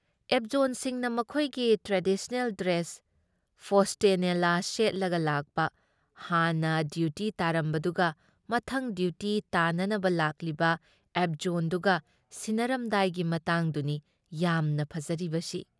ꯑꯦꯕꯖꯣꯟꯁꯤꯡꯅ ꯃꯈꯣꯏꯒꯤ traditional dress, ꯐꯣꯁꯇꯦꯅꯦꯜꯂꯥ ꯁꯦꯠꯂꯒ ꯂꯥꯛꯄ, ꯍꯥꯟꯅ ꯗ꯭ꯌꯨꯇꯤ ꯇꯥꯔꯝꯕꯗꯨꯒ ꯃꯊꯪ ꯗ꯭ꯌꯨꯇꯤ ꯇꯥꯅꯅꯕ ꯂꯥꯛꯂꯤꯕ ꯑꯦꯕꯖꯣꯟꯗꯨꯒ ꯁꯤꯟꯅꯔꯝꯗꯥꯏꯒꯤ ꯃꯇꯥꯡꯗꯨꯅꯤ ꯌꯥꯝꯅ ꯐꯖꯔꯤꯕꯁꯤ ꯫